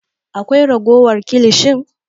Akwai ragowar kilishin?